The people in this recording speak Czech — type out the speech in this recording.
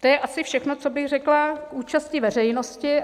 To je asi všechno, co bych řekla k účasti veřejnosti.